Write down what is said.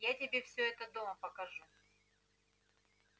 я тебе всё это дома покажу